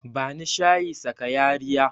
Bani shayi sakayariya